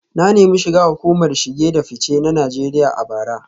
Na nemi shiga hukumar shige da fice ta Najeriya a bara